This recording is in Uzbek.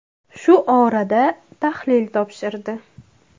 Shu orada tahlil topshirdi.